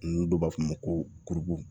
N do b'a fɔ ma ko